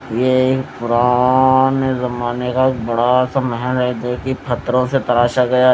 यह एक पुराने जमाने का बड़ा सा महल है जो कि पत्थरों से तराशा गया।